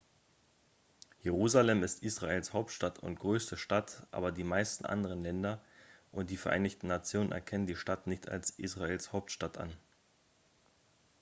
jerusalem ist israels hauptstadt und größte stadt aber die meisten anderen länder und die vereinten nationen erkennen die stadt nicht als israels hauptstadt an